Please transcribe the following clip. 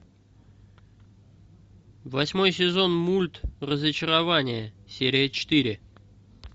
восьмой сезон мульт разочарование серия четыре